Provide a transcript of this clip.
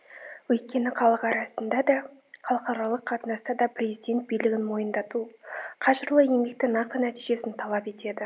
өйткені халық арасында да халықаралық қатынаста да президент билігін мойындату қажырлы еңбекті нақты нәтижесін талап етеді